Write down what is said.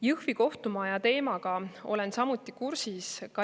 Jõhvi kohtumaja teemaga olen samuti kursis.